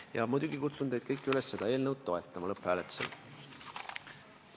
Ja muidugi kutsun teid kõiki üles seda eelnõu lõpphääletusel toetama.